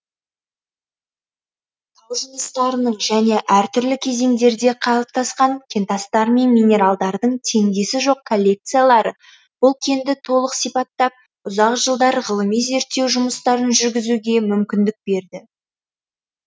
тау жыныстарының және әр түрлі кезеңдерде қалыптасқан кентастар мен минералдардың теңдесі жоқ коллекциялары бұл кенді толық сипаттап ұзақ жылдар ғылыми зерттеу жұмыстарын жүргізуге мүмкіндік берді